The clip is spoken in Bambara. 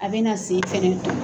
A bɛna na sen fɛnɛ tɔn.